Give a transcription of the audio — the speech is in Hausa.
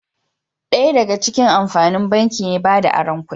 Daya daga cikin amfanin banki ne bada aron kudi